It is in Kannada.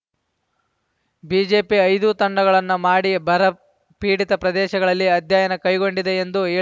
ಬಿಜೆಪಿ ಐದು ತಂಡಗಳನ್ನು ಮಾಡಿ ಬರಪೀಡಿತ ಪ್ರದೇಶಗಳಲ್ಲಿ ಅಧ್ಯಯನ ಕೈಗೊಂಡಿದೆ ಎಂದು ಹೇಳಿ